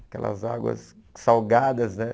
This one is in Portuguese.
Aquelas águas salgadas, né?